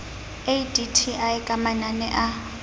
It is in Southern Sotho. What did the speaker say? a dti ka manane a